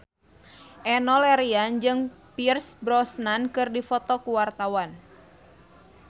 Enno Lerian jeung Pierce Brosnan keur dipoto ku wartawan